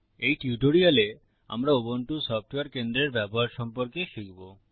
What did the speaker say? এই টিউটোরিয়ালে আমরা উবুন্টু সফটওয়্যার কেন্দ্রের ব্যবহার সম্পর্কে শিখব